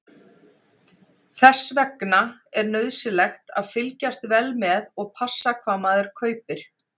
Þess vegna er nauðsynlegt að fylgjast vel með og passa hvað maður kaupir.